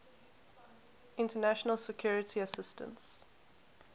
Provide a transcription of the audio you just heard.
international security assistance